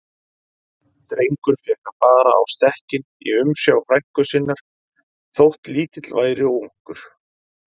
Drengur fékk að fara á stekkinn í umsjá frænku sinnar, þótt lítill væri og ungur.